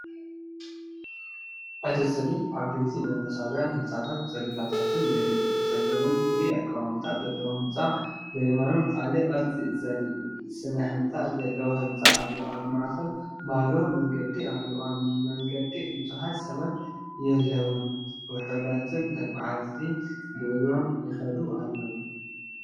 እቲ ስእሊ ዓበይትን መንፈሳውያንን ህንጻታትን ጽርግያታትን የርኢ። ብጸጋም ፍሉይ ኣቀማምጣ ዘለዎ ህንጻ፡ ብየማን ካልእ ቅርጺ ስነ ህንጻ ዘለዎ ህንጻ ኣሎ። ኣብ ማእኸል ባዶ መንገዲ ኣሎ፣ ኣብ መንገዲ ብዙሓት ሰባት የለዉን ውሑዳት ተጓዓዝቲ ብእግሮም ይኸዱ ኣለዉ።